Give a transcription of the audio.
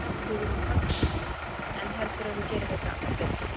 Hugrún Halldórsdóttir: En heldurðu að þú gerir þetta aftur?